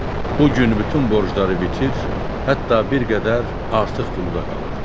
Bu gün bütün borcları bitir, hətta bir qədər artıq pulu da qalırdı.